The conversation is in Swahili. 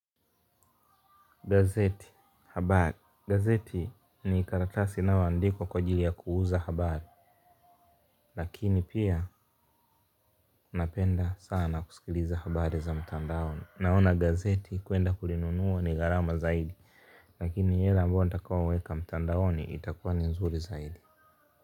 Gazeti habari gazeti ni karatasi inaoandikwa kwa ajili ya kuuza habari lakini pia napenda sana kusikiliza habari za mtandaoni. Naona gazeti kuenda kulinunua ni gharama zaidi. Lakini yale ambao nitakaoweka mtandaoni itakuwa ni nzuri zaidi.